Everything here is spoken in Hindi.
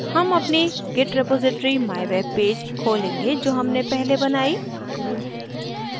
हम अपनी git repository mywebpage खोलेंगे जो हमने पहले बनाई